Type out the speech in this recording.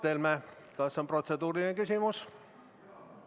Mart Helme, kas on protseduuriline küsimus?